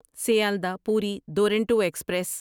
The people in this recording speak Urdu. سیلدہ پوری دورونٹو ایکسپریس